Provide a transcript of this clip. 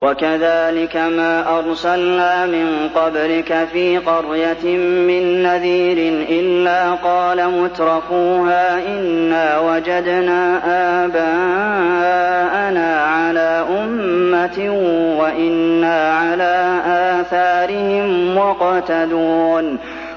وَكَذَٰلِكَ مَا أَرْسَلْنَا مِن قَبْلِكَ فِي قَرْيَةٍ مِّن نَّذِيرٍ إِلَّا قَالَ مُتْرَفُوهَا إِنَّا وَجَدْنَا آبَاءَنَا عَلَىٰ أُمَّةٍ وَإِنَّا عَلَىٰ آثَارِهِم مُّقْتَدُونَ